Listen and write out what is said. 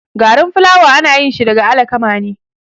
Garin fulawa anayinshi daga alakama ne